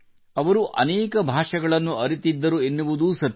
ಅವರು ಅನೇಕ ಭಾμÉಗಳನ್ನು ಅರಿತಿದ್ದರು ಎನ್ನುವುದೂ ಸತ್ಯ